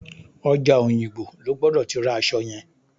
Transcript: Ọjà Òyìngbò lo gbọ́dọ̀ ti ra aṣọ yẹn.